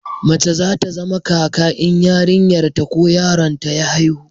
mace za ta zama kaka in yarinyar ta ko yaron ta ya haihu